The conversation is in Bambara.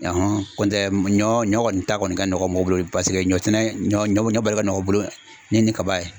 ɲɔ ɲɔ kɔni ta kɔni ka nɔgɔ ka mɔgɔw bolo paseke ɲɔsɛnɛ ɲɔ ɲɔ baara ka nɔgɔ u bolo ni kaba ye.